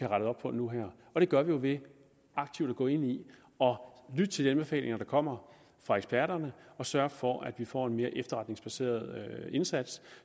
rettet op på nu her og det gør vi ved aktivt at gå ind i og lytte til de anbefalinger der kommer fra eksperterne og sørge for at vi får en mere efterretningsbaseret indsats